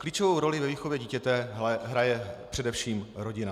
Klíčovou roli ve výchově dítěte hraje především rodina.